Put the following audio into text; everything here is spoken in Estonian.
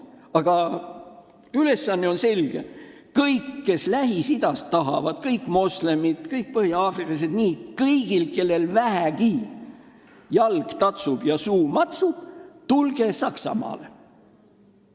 Aga üleskutse on selge: kõik, kes Lähis-Idas tahavad, kõik moslemid, kõik põhja-aafriklased – kõik, kellel vähegi jalg tatsub ja suu matsub –, tulge Saksamaale!